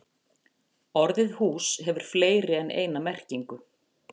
Orðið hús hefur fleiri en eina merkingu.